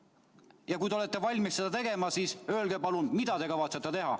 Ja kui te olete valmis seda tegema, siis öelge palun, mida te kavatsete teha.